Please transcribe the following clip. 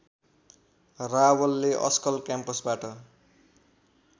रावलले अस्कल क्याम्पसबाट